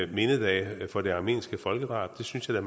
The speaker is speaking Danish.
mindedage for det armenske folkedrab synes jeg